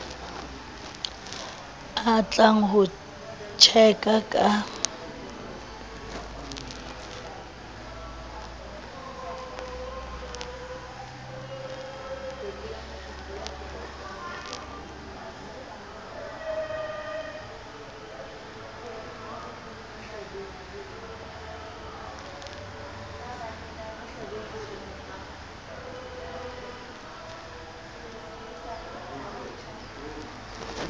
a tlang ho tjeka ka